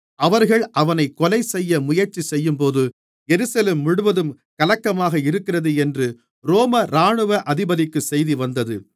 அவர்கள் அவனைக் கொலைசெய்ய முயற்சி செய்யும்போது எருசலேம் முழுவதும் கலக்கமாக இருக்கிறது என்று ரோம இராணுவ அதிபதிக்குச் செய்தி வந்தது